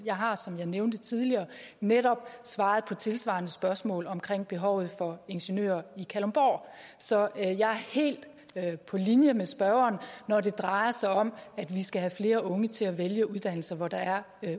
jeg har som jeg nævnte tidligere netop svaret på tilsvarende spørgsmål om behovet for ingeniører i kalundborg så jeg er helt på linje med spørgeren når det drejer sig om at vi skal have flere unge til at vælge uddannelser hvor der er